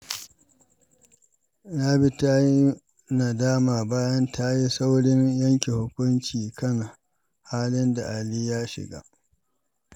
Rabi ta yi nadama bayan ta yi saurin yanke hukunci kan halin da Ali ya shiga.